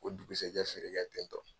K'o dugusajɛ feere kɛ tentɔ.